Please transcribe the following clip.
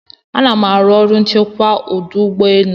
Anam aru ọrụ onye nchekwa ọdụ ụgbọ enu